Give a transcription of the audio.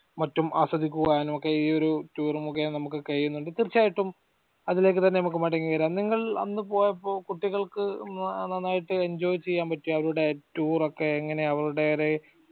മറ്റും ആസ്വദിക്കുടാനുമൊക്കെ ഈ ഒരു tour ഉമൊക്കെ നമുക് കഴിയുന്നതും തീർച്ചയായിട്ടും അതിലേക്ക് തന്നെ നമുക്ക് മടങ്ങി വരം നിങൾ അന്ന് പോയപ്പോ കുട്ടികൾക്ക് ഉം നന്നായിട്ട് enjoy ചെയ്യാ പറ്റിയോ അവരുടെ tour ഒക്കെ എങ്ങനെയാ അവരുടെ